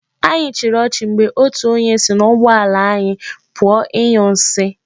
Anyị chịrị ọchị mgbe otu onye si n'ụgbọ ala anyi pụọ ịnyụ nsi.